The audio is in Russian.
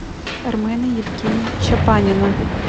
армена евгеньевича панина